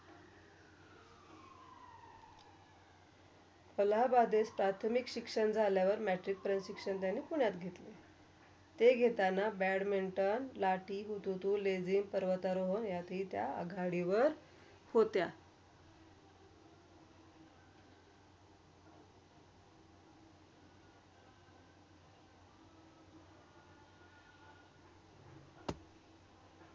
अलाहाबाद इते प्राथमिक शिक्षण झाल्यावर Matric परंत शिक्षण त्यांनी पुण्यात घेतले. ते घेताना बॅडमिंटन, लाठी, हुतू -तु, लेजीम, परवा -तर्व याच्या त्या आघाडी वर होत्या.